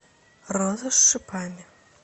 роза с шипами